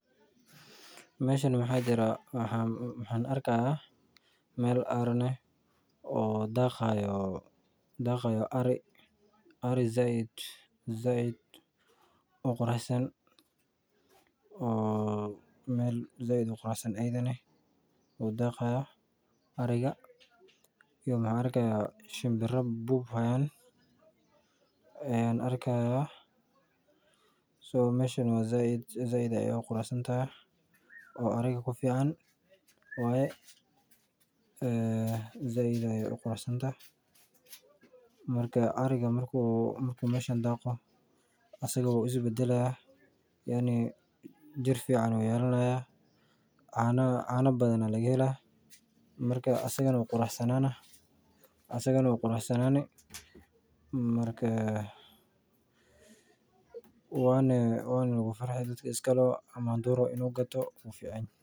Meeshan waxa jiraa waxan arki haaya meel aaran ah oo ari sait uqurux san daaqi haayo oo meel sait uqurux san daaqi haayo iyo ahinbira quruxsan meel ariga kufican waye marki uu ariga meeshan daaqo wuu is badalaa cana badan ayaa laga helaa waana lagu farxi wuuna badani.